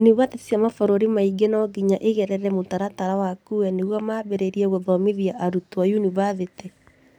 Yunibathĩtĩ cia mabũrũri mangĩ nonginya igerere mũtaratara wa CUE nĩguo mambĩrĩrie gũthomithia arutwo yunibathitĩ